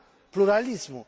pluralismul,